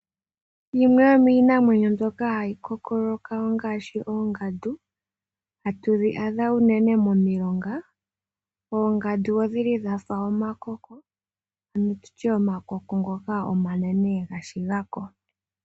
Yimwe yomiinamwenyo mbyoka hayi kookoloka ongaashi ongandu hatu yi adha unene momilonga. Oongandu odhili dha fa omakoko ano tutye omakoko ngoka omanene gashiga ko.